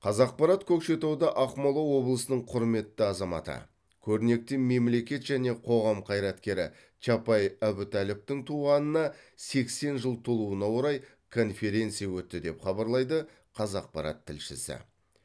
қазақпарат көкшетауда ақмола облысының құрметті азаматы көрнекті мемлекет және қоғам қайраткері чапай әбутәліповтың туғанына сексен жыл толуына орай конференция өтті деп хабарлайды қазақпарат тілшісі